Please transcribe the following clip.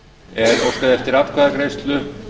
er óskað eftir atkvæðagreiðslu